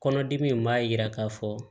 Kɔnɔdimi in b'a jira k'a fɔ